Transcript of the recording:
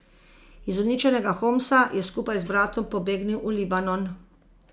Iz uničenega Homsa je skupaj z bratom pobegnil v Libanon.